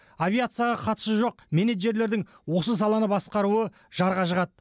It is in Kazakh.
авиацияға қатысы жоқ менеджерлердің осы саланы басқаруы жарға жығады